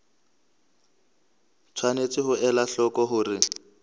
tshwanetse ho ela hloko hore